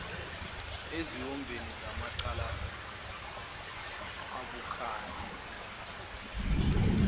eziwombeni zamacala abucayi